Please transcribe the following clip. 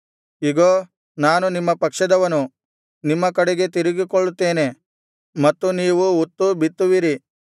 ಇಗೋ ನಾನು ನಿಮ್ಮ ಪಕ್ಷದವನು ನಿಮ್ಮ ಕಡೆಗೆ ತಿರುಗಿಕೊಳ್ಳುತ್ತೇನೆ ಮತ್ತು ನೀವು ಉತ್ತು ಬಿತ್ತುವಿರಿ